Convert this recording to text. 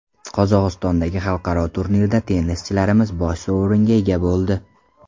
Qozog‘istondagi xalqaro turnirda tennischilarimiz bosh sovringa ega bo‘ldi.